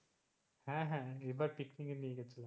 হ্যাঁ হ্যাঁ এবার পিকনিক এ নিয়ে গেছিল,